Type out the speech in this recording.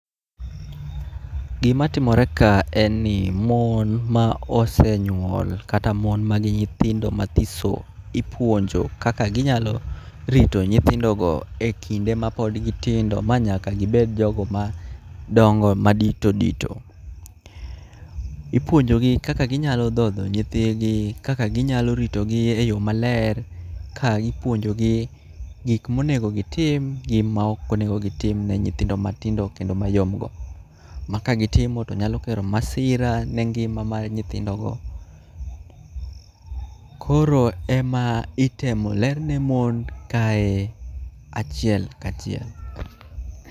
Gima timore ka en ni mon ma osenyuol kata mon ma nigi nyithindo mathiso ipuonjo kaka ginyalo rito nyithindogo e kinde ma pod gitindo. Ma nyaka gibed jogo ma dongo ma dito dito. Ipuonjogi kaka ginyalo dhodho nyithigi, kaka ginyalo ritogi e yo maler ka ipuojogi gik monego gitim gi maok onego gitim ne nyithindo matindo kendo mayom go. Ma ka gitimo to nyalo kelo masira ne ngima mar nyithindo go. Koro ema itemo lerne mon kae achiel kachiel.